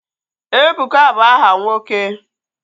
Ebuka bụ aha nwoke